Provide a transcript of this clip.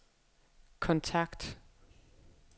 kontakt